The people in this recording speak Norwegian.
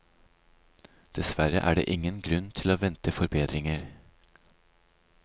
Dessverre er det ingen grunn til å vente forbedringer.